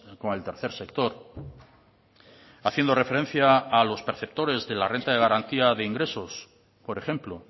con el tercer sector haciendo referencia a los perceptores de la renta de garantía de ingresos por ejemplo